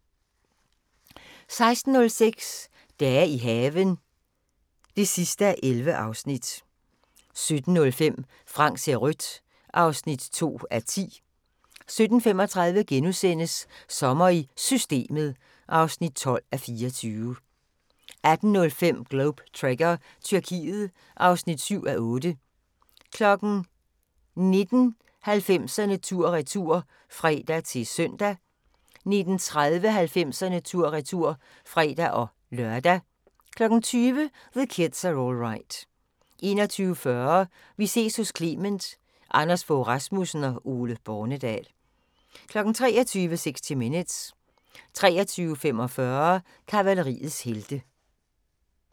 16:06: Dage i haven (11:11) 17:05: Frank ser rødt (2:10) 17:35: Sommer i Systemet (12:24)* 18:05: Globe Trekker – Tyrkiet (7:8) 19:00: 90'erne tur-retur (fre-søn) 19:30: 90'erne tur-retur (fre-lør) 20:00: The Kids Are All Right 21:40: Vi ses hos Clement: Anders Fogh Rasmussen og Ole Bornedal 23:00: 60 Minutes 23:45: Kavaleriets heste